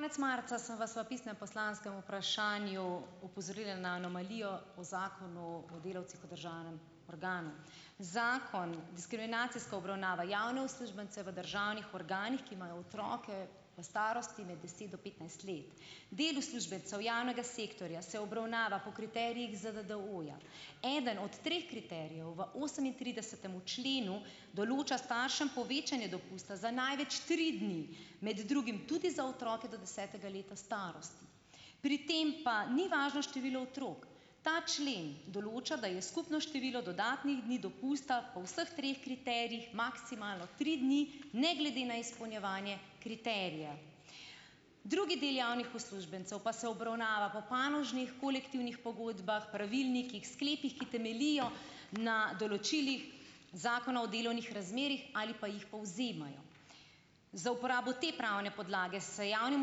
Konec marca sem vas v pisnem poslanskem vprašanju opozorila na anomalijo o Zakonu o delavcih v državnem organu. Zakon, diskriminacijska obravnava, javne uslužbence v državnih organih, ki imajo otroke v starosti med deset do petnajst let. Del uslužbencev javnega sektorja, se obravnava po kriterijih ZDDO-ja. Eden od treh kriterijev v osemintridesetem členu določa staršem povečanje dopusta za največ tri dni, med drugim tudi za otroke do desetega leta starosti. Pri tem pa ni važno število otrok. Ta člen določa, da je skupno število dodatnih dni dopusta po vseh treh kriterijih maksimalno tri dni, ne glede na izpolnjevanje kriterija. Drugi del javnih uslužbencev pa se obravnava po panožnih, kolektivnih pogodbah, pravilnikih, sklepih, ki temeljijo na določilih Zakona o delovnih razmerjih ali pa jih povzemajo. Za uporabo te pravne podlage se javnim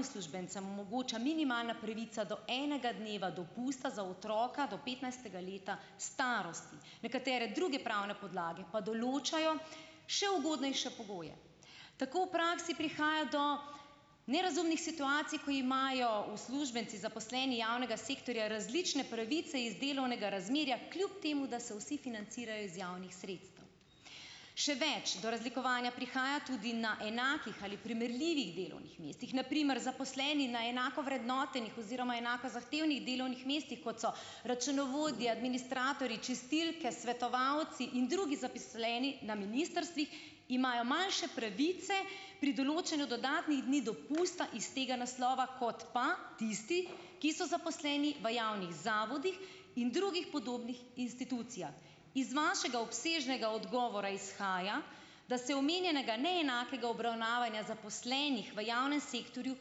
uslužbencem omogoča minimalna pravica do enega dneva dopusta za otroka do petnajstega leta starosti. Nekatere druge pravne podlage pa določajo še ugodnejše pogoje. Tako v praksi prihaja do nerazumnih situacij, ko imajo uslužbenci, zaposleni javnega sektorja različne pravice iz delovnega razmerja, kljub temu da so vsi financirajo iz javnih sredstev. Še več, do razlikovanja prihaja tudi na enakih ali primerljivih delovnih mestih. Na primer zaposleni na enako vrednotenih oziroma enako zahtevnih delovnih mestih, kot so računovodje, administratorji, čistilke, svetovalci in drugi zaposleni na ministrstvih, imajo manjše pravice pri določanju dodatnih dni dopusta iz tega naslova, kot pa tisti, ki so zaposleni v javnih zavodih in drugih podobnih institucijah. Iz vašega obsežnega odgovora izhaja, da se omenjenega neenakega obravnavanja zaposlenih v javnem sektorju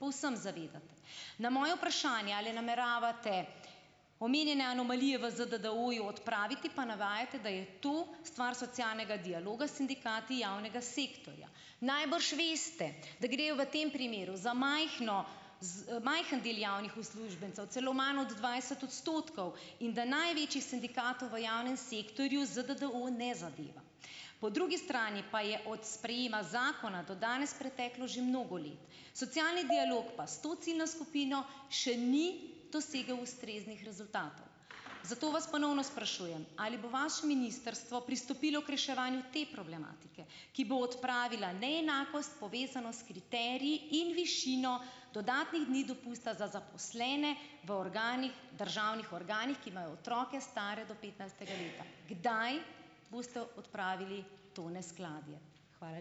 povsem zavedate. Na moje vprašanje, ali nameravate omenjene anomalije v ZDDO-ju odpraviti, pa navajate, da je to stvar socialnega dialoga sindikati javnega sektorja. Najbrž veste, da grejo v tem primeru za majhno majhen del javnih uslužbencev, celo manj od dvajset odstotkov in da največjih sindikatov v javnem sektorju ZDDO ne zadeva. Po drugi strani pa je od sprejema zakona do danes preteklo že mnogo let. Socialni dialog pa s to ciljno skupino še ni dosegel ustreznih rezultatov. Zato vas ponovno sprašujem, ali bo vaše ministrstvo pristopilo k reševanju te problematike, ki bo odpravila neenakost, povezano s kriteriji in višino dodatnih dni dopusta za zaposlene v organih državnih organih, ki imajo otroke stare do petnajstega leta. Kdaj boste odpravili to neskladje? Hvala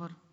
lepa.